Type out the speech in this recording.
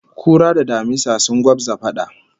Kura da damisa sun gwabza fada